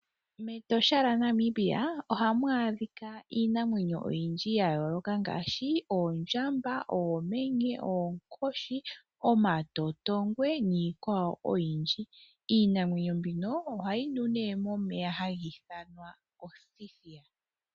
Metosha lya Namibia ohamu adhikwa iinamwenyo oyindji yayooloka ngashi Oondjamba, Oomenye, Oonkoshi, Omatotongwe niikwawo oyindji. Iinamwenyo mbino ohayi nu ne momeya ha giithanwa othithiya.